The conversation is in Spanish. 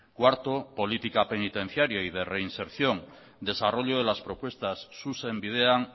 cuarto política penitenciaria y de reinserción desarrollo de las propuestas zuzen bidean